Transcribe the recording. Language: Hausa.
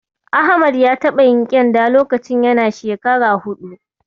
Ahmad ya taɓa yin ƙyenda lokacin yana shekara huɗu.